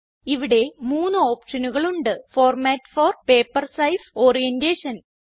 ഇവിടെ മൂന്നു ഓപ്ഷനുകളുണ്ട് format for paper size orientation